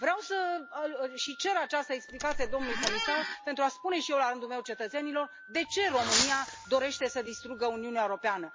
Vreau și cer această explicație domnului comisar, pentru a spune și eu, la rândul meu, cetățenilor de ce România dorește să distrugă Uniunea Europeană.